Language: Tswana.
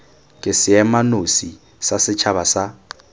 ke seemanosi sa setšhaba sa